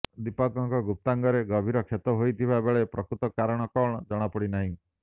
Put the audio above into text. ଦୀପକଙ୍କ ଗୁପ୍ତାଙ୍ଗରେ ଗଭୀର କ୍ଷତ ହୋଇଥିବା ବେଳେ ପ୍ରକୃତ କାରଣ କଣ ଜଣା ପଡ଼ିନାହିଁ